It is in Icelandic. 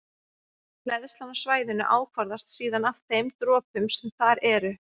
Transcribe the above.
Hleðslan á svæðinu ákvarðast síðan af þeim dropum sem þar eru.